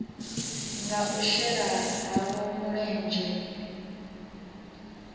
nga u shela havho mulenzhe